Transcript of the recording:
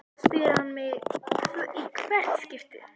spyr hann mig í hvert skipti.